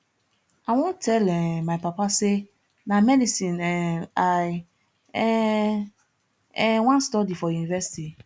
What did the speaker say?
i wan tell um my papa say na medicine um i um um wan study for university